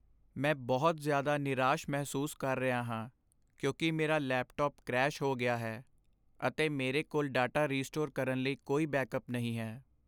ਮੈਂ ਬਹੁਤ ਜ਼ਿਆਦਾ ਨਿਰਾਸ਼ ਮਹਿਸੂਸ ਕਰ ਰਿਹਾ ਹਾਂ ਕਿਉਂਕਿ ਮੇਰਾ ਲੈਪਟਾਪ ਕਰੈਸ਼ ਹੋ ਗਿਆ ਹੈ, ਅਤੇ ਮੇਰੇ ਕੋਲ ਡਾਟਾ ਰੀਸਟੋਰ ਕਰਨ ਲਈ ਕੋਈ ਬੈਕਅੱਪ ਨਹੀਂ ਹੈ।